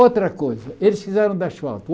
Outra coisa, eles fizeram de asfalto.